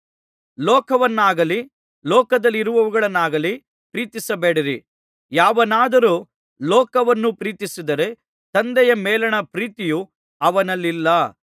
ಲೋಕವನ್ನಾಗಲಿ ಲೋಕದಲ್ಲಿರುವವುಗಳನ್ನಾಗಲಿ ಪ್ರೀತಿಸಬೇಡಿರಿ ಯಾವನಾದರೂ ಲೋಕವನ್ನು ಪ್ರೀತಿಸಿದರೆ ತಂದೆಯ ಮೇಲಿನ ಪ್ರೀತಿಯು ಅವನಲ್ಲಿಲ್ಲ